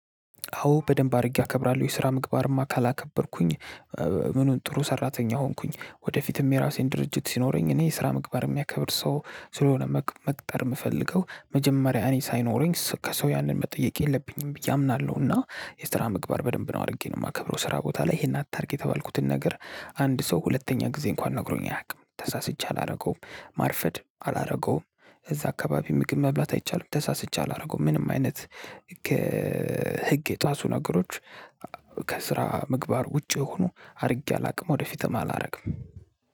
አዎ በደምብ አርጌ አከብራለሁ የስራ ምግባርማ ካላከርበርኩኝ። ምኑን ጥሩ ሰራተኛ ሆንኩኝ ወደፊትም የራሴን ድርጅት ሲኖረኝ እኔ የስራ ምግባርን የሚያከብር ሰው ስለሆነ መቅጠር የምፈልገው መጀመሪያ እኔ ሳይኖረኝ ከሰው ያንን መጠየቅ የለብኝም ብዬ አምናለሁና። የስራ ምግባር በደንብ ነው አድርጌ ነው የማከብረው ስራ ቦታ ላይ ይሄን አታርግ የተባልኩትን ነገር አንድ ሰው ሁለተኛ ጊዜ እንኳን ነግሮኝ አያውቅም ተሳስቼ አላደርገውም። ማርፈድ አላደርገውም። እዛ አካባቢ ምግብ መብላት አይቻልም። ተሳስቼ አላደረገውም ምንም አይነት ከህግ የጣሱ ነገሮች። ከስራ ምግባር ውጪ የሆኑ አድርጌ አላውቅም ወደፊትም አላደርግም።